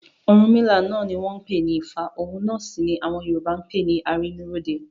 Ọ̀rúnmìlà náà ni wọ́n ń pè ní Ifá òun náà sì ni àwọn Yorùbá ń pè ní Arínúróde.